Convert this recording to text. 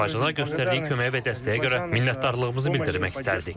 Azərbaycana göstərdiyi kömək və dəstəyə görə minnətdarlığımızı bildirmək istərdik.